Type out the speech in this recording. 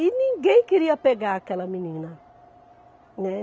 E ninguém queria pegar aquela menina, né.